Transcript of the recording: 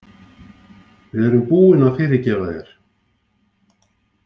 Við erum búin að fyrirgefa þér.